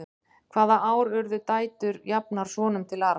hvaða ár urðu dætur jafnar sonum til arfs